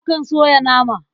Akan soya nama.